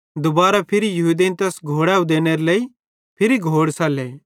दुबारां फिरी यहूदेईं तैस घोड़ैव देनेरे लेइ फिरी घोड़ सल्ले